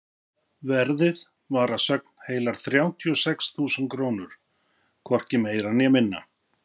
Verðið var að sögn heilar þrjátíu og sex þúsund krónur, hvorki meira né minna.